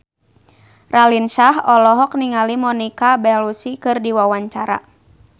Raline Shah olohok ningali Monica Belluci keur diwawancara